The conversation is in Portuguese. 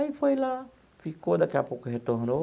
Aí foi lá, ficou, daqui a pouco retornou.